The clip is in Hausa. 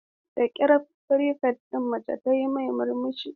Da ƙyar prefect ɗin mace tayi murmushi.